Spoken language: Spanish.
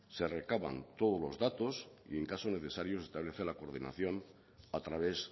se recaban todos los datos y en caso necesario se establece la coordinación a través